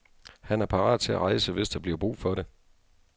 Han er parat til at rejse, hvis der bliver brug for det.